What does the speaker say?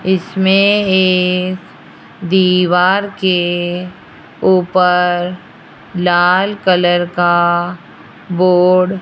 इसमें एक दीवार के ऊपर लाल कलर का बोर्ड --